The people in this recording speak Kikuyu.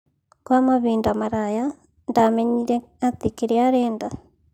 Kwa mabinda maraya, ndamenyire atĩ kĩria arenda.